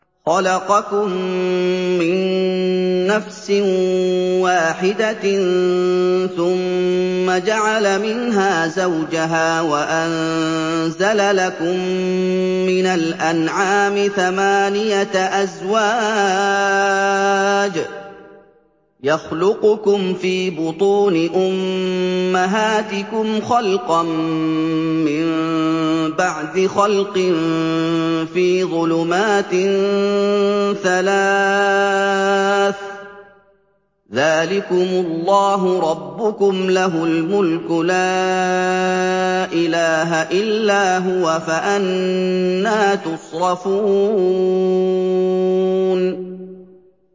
خَلَقَكُم مِّن نَّفْسٍ وَاحِدَةٍ ثُمَّ جَعَلَ مِنْهَا زَوْجَهَا وَأَنزَلَ لَكُم مِّنَ الْأَنْعَامِ ثَمَانِيَةَ أَزْوَاجٍ ۚ يَخْلُقُكُمْ فِي بُطُونِ أُمَّهَاتِكُمْ خَلْقًا مِّن بَعْدِ خَلْقٍ فِي ظُلُمَاتٍ ثَلَاثٍ ۚ ذَٰلِكُمُ اللَّهُ رَبُّكُمْ لَهُ الْمُلْكُ ۖ لَا إِلَٰهَ إِلَّا هُوَ ۖ فَأَنَّىٰ تُصْرَفُونَ